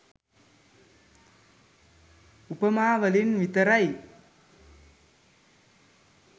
උපමා වලින් විතරයි.